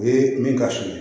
O ye min ka sulu ye